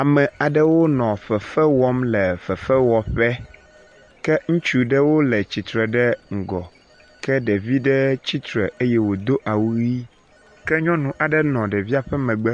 Ame aɖewo nɔ fefe wɔm le fefewɔƒe ke ŋutsu ɖewo le tsitre ɖe ŋgɔ ke ɖevi aɖe tsitre eye wodo awu ʋi ke nyɔnu aɖe nɔ ɖevia ƒe megbe